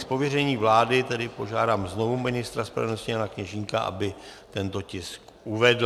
Z pověření vlády tedy požádám znovu ministra spravedlnosti Jana Kněžínka, aby tento tisk uvedl.